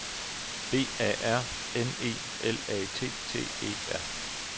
B A R N E L A T T E R